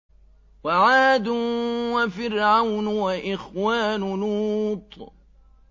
وَعَادٌ وَفِرْعَوْنُ وَإِخْوَانُ لُوطٍ